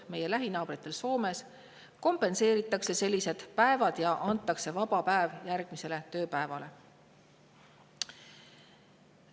Näiteks meie lähinaabrite jaoks Soomes kompenseeritakse sellised päevad ja antakse nende jaoks järgnev tööpäev.